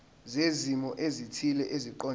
zezimo ezithile eziqondene